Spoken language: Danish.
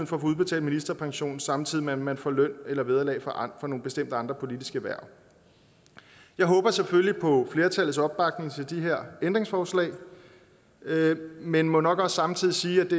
få udbetalt ministerpension samtidig med at man får løn eller vederlag for nogle bestemte andre politiske hverv jeg håber selvfølgelig på flertallets opbakning til de her ændringsforslag men må nok også samtidig sige